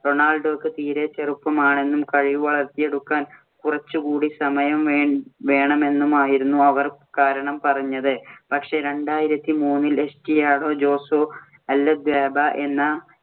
റൊണാൾഡോക്ക് തീരേ ചെറുപ്പമാണെന്നും കഴിവ് വളർത്തിയെടുക്കാൻ കുറച്ചുകൂടി സമയം വേണമെന്നുമായിരുന്നു അവർ കാരണം പറഞ്ഞത്. പക്ഷേ രണ്ടായിരത്തി മൂന്നില്‍ എസ്റ്റാഡിയോ ജോസേ അല്വദാബ എന്ന